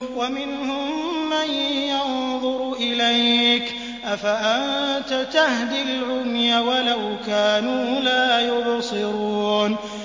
وَمِنْهُم مَّن يَنظُرُ إِلَيْكَ ۚ أَفَأَنتَ تَهْدِي الْعُمْيَ وَلَوْ كَانُوا لَا يُبْصِرُونَ